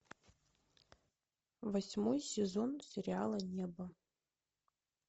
восьмой сезон сериала небо